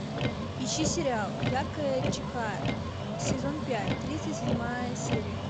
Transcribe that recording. ищи сериал яркая чихая сезон пять тридцать седьмая серия